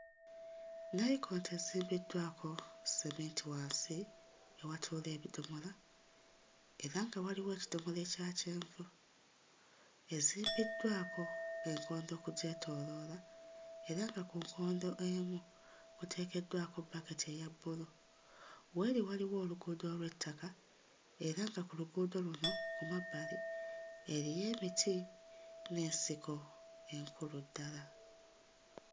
Nnayikonto ezimbiddwako sseminti wansi ewatuula ebidomola era nga waliwo ekidomola ekya kyenvu, ezimbiddwako enkondo okugyetooloola era nga ku nkondo emu kuteekeddwako bbaketi eya bbulu w'eri waliwo oluguudo olw'ettaka era nga ku luguudo luno ku mabbali eriyo emiti n'ensiko enkulu ddala.